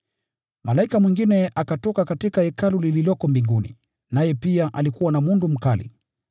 Malaika mwingine akatoka katika hekalu lililoko mbinguni, naye pia alikuwa na mundu mkali.